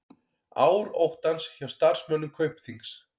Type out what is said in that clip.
Ár óttans hjá starfsmönnum Kaupþings